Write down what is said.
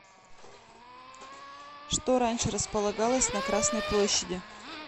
что раньше располагалось на красной площади